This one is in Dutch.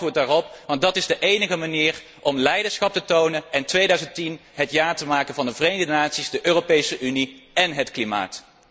Graag een reactie daarop, want dat is de enige manier om leiderschap te tonen en 2010 het jaar te maken van de Verenigde Naties, de Europese Unie én het klimaat.